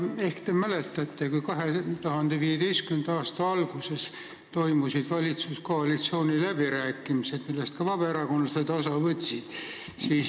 Ehk te mäletate 2015. aasta alguses toimunud valitsuskoalitsiooni läbirääkimisi, millest ka vabaerakondlased osa võtsid.